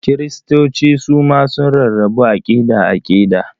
Kiristoci su ma sun rarrabu aƙida-aƙida.